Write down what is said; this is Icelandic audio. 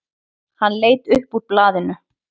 Hann leit upp úr blaðinu.